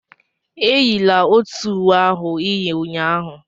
Eyila otu uwe ahụ ị yi ụnyahụ!